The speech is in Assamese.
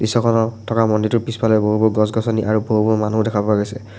দৃশ্যখনত থকা মন্দিৰটোৰ পিছফালে বহু-বহু গছ-গছনি আৰু বহু-বহু মানুহো দেখা পোৱা গৈছে।